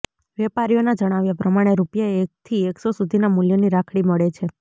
વેપારીઓના જણાવ્યા પ્રમાણે રૃપિયા એકથી એકસો સુધીના મૂલ્યની રાખડી મળે છે